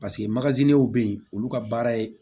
Paseke be yen olu ka baara ye